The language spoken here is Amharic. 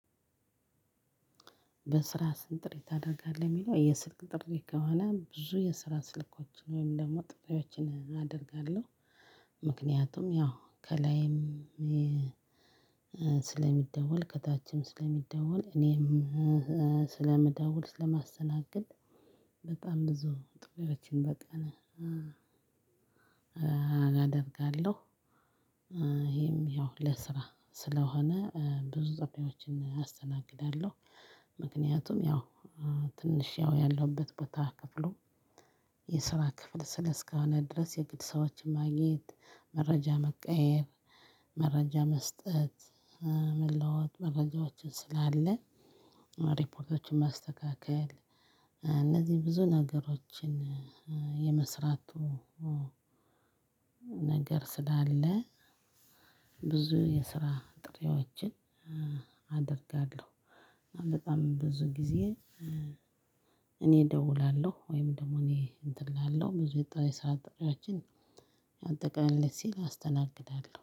በስራ ስንት ጥሪ ታደርጋለህ የሚለው የስልክ ጥሪ ከሆነ ብዙ የስራ ስልኮችን ወይም ደግሞ ጥሪዎችን አደርጋለሁ። ምክንያቱም ያው ከላይም ስለሚደወል ከታችም ስለሚደወል እኔም ስለምደውል ስለማስተናገድ በጣም ብዙ ጥሪዎችን በቀን አደርጋለሁ። ይሄም ያው ለስራ ስለሆነ ብዙ ጸባዎችን አስተናግዳለሁ። ምክንያቱም ያው ትንሽ ያው ያለሁበት ቦታ ክፍሉም የስራ ክፍል ስል እስከሆነ ድረስ የግድ ሰዎችን ማግኘት መረጃ መቀያየር መረጃ መስጠት መለወጥ መረጃዎችን ስላለ ሪፖርቶችን ማስተካከል እነዚህ ብዙ ነገሮችን የመስራቱ ነገር ስላለ ብዙ የስራ ጥሪዎችን አደርጋለሁ። እና በጣም ብዙ ጊዜ እኔ እደውላለሁ ወይም ደግሞ እኔ እንትን እላለሁ ብዙ የስራ ጥሪዎችን ጠቅለል ሲል አስተናግዳለሁ